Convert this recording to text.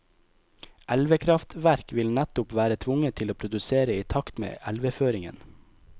Elvekraftverk vil nettopp være tvunget til å produsere i takt med elveføringen.